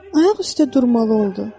Ayaq üstə durmalı oldu.